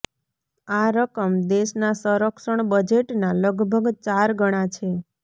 આ રકમ દેશના સંરક્ષણ બજેટના લગભગ ચાર ગણા છે